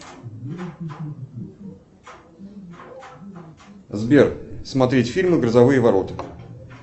сбер смотреть фильмы грозовые ворота